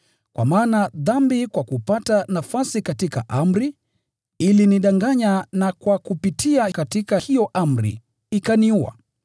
Kwa maana dhambi kwa kupata nafasi katika amri, ilinidanganya, na kupitia katika hiyo amri, ikaniua.